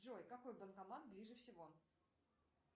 джой какой банкомат ближе всего